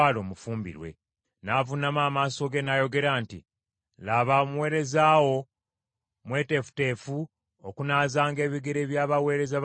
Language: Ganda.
N’avuunama amaaso ge n’ayogera nti, “Laba omuweereza wo mweteefuteefu okunaazanga ebigere by’abaweereza ba mukama wange.”